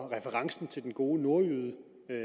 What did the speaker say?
referencen til den gode nogle